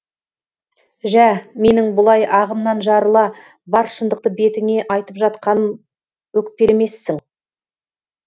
жә менің бұлай ағымнан жарыла бар шындықты бетіңе айтып жатқаным өкпелемессің